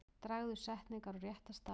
Dragðu setningar á rétta staði.